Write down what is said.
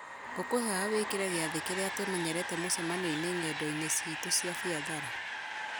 ngũkwĩhoya wĩkĩre gĩathĩ kĩrĩa tũmenyerete mũcemanio-inĩ ng'endo-inĩ ciitũ cia biathara